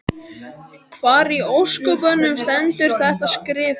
Hvar í ósköpunum stendur þetta skrifað?